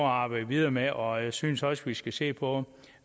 arbejde videre med og jeg synes også vi skal se på